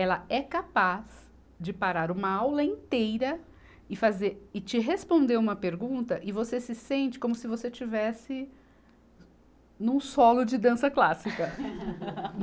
Ela é capaz de parar uma aula inteira e fazer, e te responder uma pergunta e você se sente como se você estivesse num solo de dança clássica.